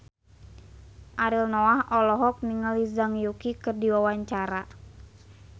Ariel Noah olohok ningali Zhang Yuqi keur diwawancara